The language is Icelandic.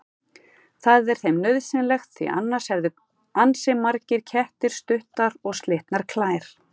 Það er þeim nauðsynlegt því annars hefðu ansi margir kettir stuttar og slitnar klær.